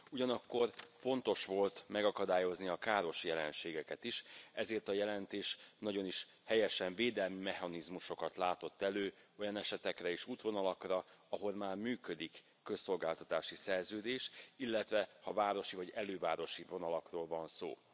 Ugyanakkor fontos volt megakadályozni a káros jelenségeket is, ezért a jelentés nagyon is helyesen védelmi mechanizmusokat látott elő olyan esetekre és útvonalakra, ahol már működik közszolgáltatási szerződés, illetve a városi vagy elővárosi vonalakról van szó.